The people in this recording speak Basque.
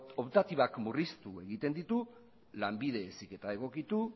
optatibak murriztu egiten ditu lanbide heziketa egokitu